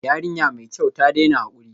Yarinya mai kyau, ta daina hakuri